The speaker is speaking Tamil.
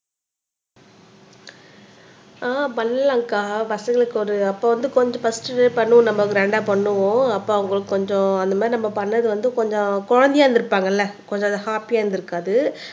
ஆஹ் பண்ணலாம்கா பசங்களுக்கு ஒரு அப்போ வந்து கொஞ்சம் பர்ஸ்ட் பண்ணுவோம் நம்ம கிராண்டா பண்ணுவோம் அப்ப அவங்களுக்கு கொஞ்சம் அந்த மாதிரி நம்ம பண்ணது வந்து கொஞ்சம் குழந்தையா இருந்திருப்பாங்கல்ல கொஞ்சம் அது ஹாப்பியா இருந்திருக்காது